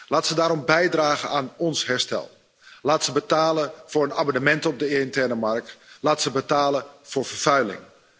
Laat ze daarom bijdragen aan ons herstel, laat ze betalen voor een abonnement op de interne markt, laat ze betalen voor vervuiling.